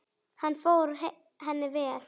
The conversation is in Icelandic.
Hann fór henni vel.